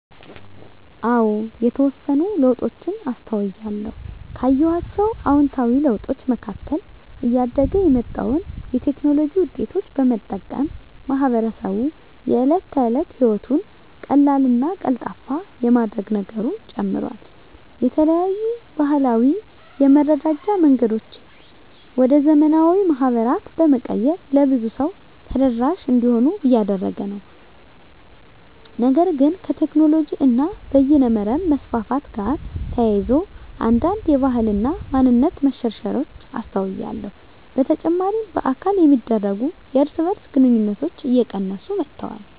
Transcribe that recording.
አዎ የተወሰኑ ለውጦችን አስተውያለሁ። ካየኋቸው አዉንታዊ ለውጦች መካከል እያደገ የመጣውን የቴክኖሎጂ ዉጤቶች በመጠቀም ማህበረሰቡ የእለት ተለት ህይወቱን ቀላልና ቀልጣፋ የማድረግ ነገሩ ጨምሯል። የተለያዩ ባህላዊ የመረዳጃ መንገዶችን ወደ ዘመናዊ ማህበራት በመቀየር ለብዙ ሰው ተደራሽ እንዲሆኑ እያደረገ ነው። ነገር ግን ከቴክኖሎጂ እና በይነመረብ መስፋፋት ጋር ተያይዞ አንዳንድ የባህል እና ማንነት መሸርሸሮች አስተውያለሁ። በተጨማሪ በአካል የሚደረጉ የእርስ በእርስ ግንኙነቶች እየቀነሱ መጥተዋል።